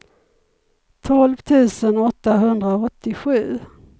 tolv tusen åttahundraåttiosju